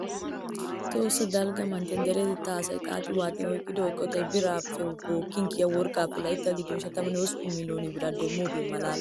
Tohossa dalgga manttiyaa deretettaa asaa xaaxi waaxi oyqqiyaa eqotay biittaappe bookkin kiyaa worqqaappe layttaa giddon ishatammne hosppun miloone biraa demmoogee malalees!